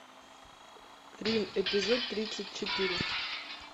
рим эпизод тридцать четыре